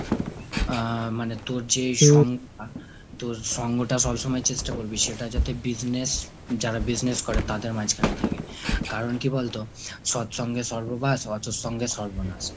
আ মানে তোর যে সঙ্গ তোর সঙ্গটা সবসময় চেষ্টা করবি সেটা যাতে business যারা business করে তাদের মাঝখানে থাকে। কারণ কি বলতো সৎ সঙ্গে স্বর্গবাস, অসৎ সঙ্গে সর্বনাশ।